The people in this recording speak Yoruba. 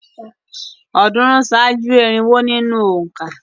Ọ̀̀ọ́dúnrún ṣáájú irinwó nínú òǹkà.